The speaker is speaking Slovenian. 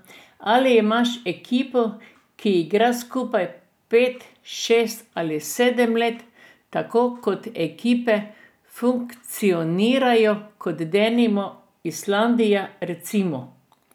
Ali imaš ekipo, ki igra skupaj pet, šest ali sedem let, tako kot ekipe funkcionirajo, kot denimo Islandija recimo.